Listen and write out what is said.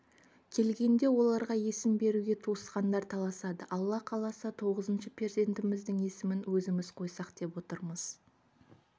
келгенде оларға есім беруге туысқандар таласады алла қаласа тоғызыншы перзентіміздің есімін өзіміз қойсақ деп отырмыз